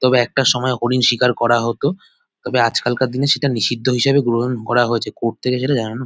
তবে একটা সময় হরিণ শিকার করা হত তবে আজকালকার দিনে সেটা নিষিদ্ধ হিসেবে গ্রহন করা হয়েছে কোর্ট থেকে সেটা জানানো--